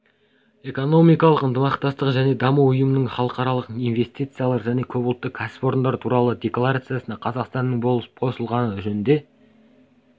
экономикалық ынтымақтастық және даму ұйымының халықаралық инвестициялар және көпұлтты кәсіпорындар туралы декларациясына қазақстанның болып қосылғаны жөнінде